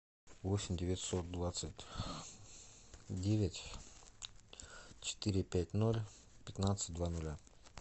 восемь девятьсот двадцать девять четыре пять ноль пятнадцать два нуля